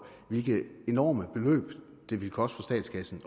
hvilke enorme beløb det ville koste statskassen